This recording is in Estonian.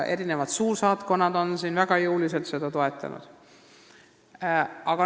Ka suursaatkonnad on seda väga jõuliselt toetanud.